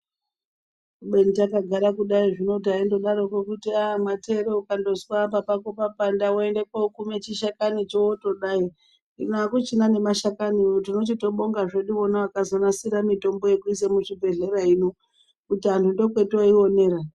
Kubeni takagara kudai zvino taindodaroko kuti matero ukazwa apa pako papanda woende kokume chishakani cho wotodai .Hino akuchina nemashakaniwo ,tinochitobongazve wona vakazonasira mitombo yekuisa muzvibhehlera kuti antu ndokworiwonera